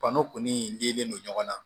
Bano kɔni dilen no ɲɔgɔn na